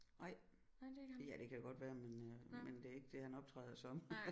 Nej ja det kan jo godt være men øh men det er ikke det han optræder som